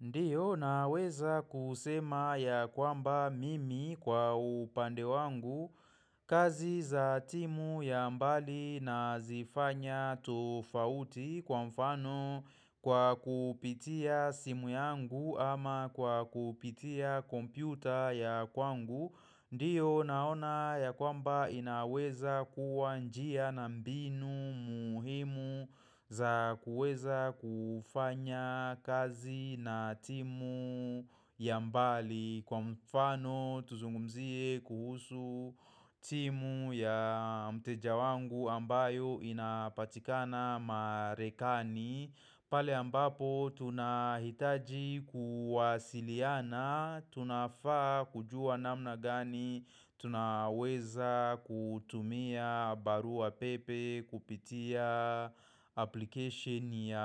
Ndiyo naweza kusema ya kwamba mimi kwa upande wangu kazi za timu ya mbali na zifanya tofauti kwa mfano kwa kupitia simu yangu ama kwa kupitia kompyuta ya kwangu. Ndiyo naona ya kwamba inaweza kuwa njia na mbinu muhimu za kuweza kufanya kazi na timu ya mbali Kwa mfano tuzungumzie kuhusu timu ya mteja wangu ambayo inapatikana marekani pale ambapo tunahitaji kuwasiliana, tunafaa kujua namna gani, tunaweza kutumia barua pepe, kupitia application ya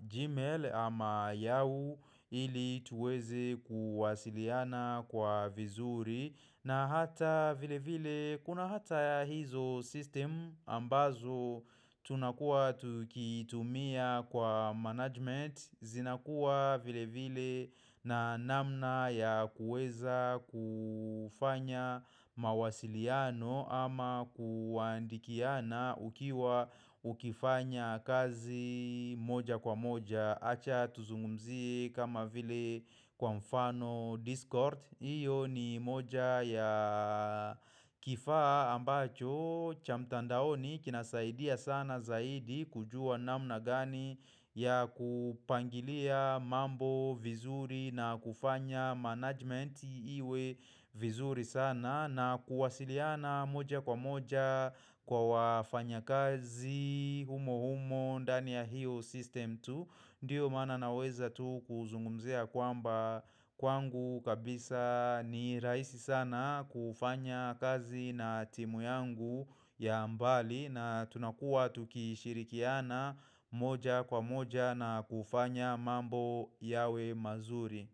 Gmail ama yahoo ili tuweze kuwasiliana kwa vizuri. Na hata vilevile kuna hata hizo system ambazo tunakua tukitumia kwa management zinakua vilevile na namna ya kuweza kufanya mawasiliano ama kuandikiana ukiwa ukifanya kazi moja kwa moja Acha tuzungumzie kama vile kwa mfano discord. Hiyo ni moja ya kifaa ambacho cha mtandaoni kinasaidia sana zaidi kujua namna gani ya kupangilia mambo vizuri na kufanya management iwe vizuri sana na kuwasiliana moja kwa moja kwa wafanyakazi humo humo ndani ya hiyo system tu Ndiyo maana naweza tu kuzungumzia kwamba kwangu kabisa ni rahisi sana kufanya kazi na timu yangu ya mbali na tunakuwa tukishirikiana moja kwa moja na kufanya mambo yawe mazuri.